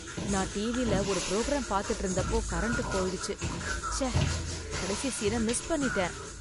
நான் டிவில ஒரு ப்ரோக்ராம் பாத்துட்டு இருந்தப்போ கரண்ட் போயிடுச்சு, ச்சே, கடைசி சீன் மிஸ் பண்ணிட்டேன்